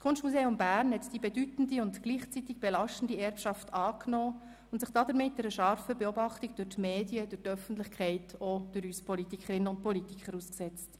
Das Kunstmuseum Bern hat die bedeutende und gleichzeitig belastende Erbschaft angenommen, und sich damit einer scharfen Beobachtung durch die Medien, die Öffentlichkeit und auch durch uns Politikerinnen und Politiker ausgesetzt.